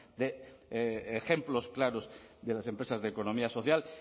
de ejemplos claros de las empresas de economía social